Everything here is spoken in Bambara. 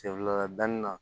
Sen fila danni na